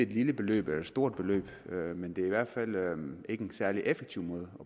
lille beløb eller et stort beløb men det er i hvert fald ikke en særlig effektiv måde